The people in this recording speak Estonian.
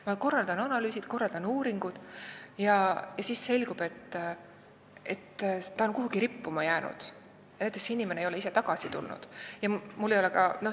Ma korraldan analüüsid ja uuringud, aga siis selgub, et need on jäänud kuhugi rippuma, inimene ei ole ise tagasi tulnud vms.